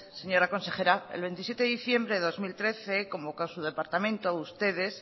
señora consejera el veintisiete de diciembre de dos mil trece convocó su departamento ustedes